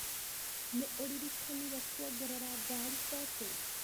Nĩ ũririkanire kuongerera ngarĩ betũrũ?